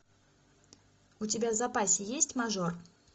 у тебя в запасе есть мажор